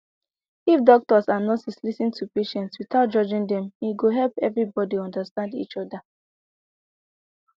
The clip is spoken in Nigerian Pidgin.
if doctors and nurses lis ten to patients without judging them e go help everybody understand each other